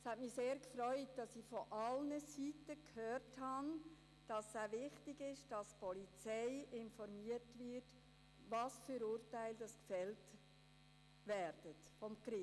Es hat mich sehr gefreut, von allen Seiten zu hören, es sei wichtig, dass die Polizei über die von den Gerichten gefällten Urteile informiert werde.